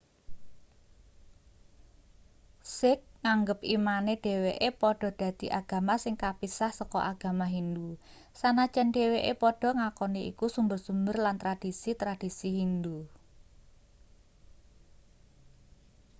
sikh nganggep imane dheweke padha dadi agama sing kapisah saka agama hindu sanajan dheweke padha ngakoni iku sumber-sumber lan tradhisi-tradhisi hindu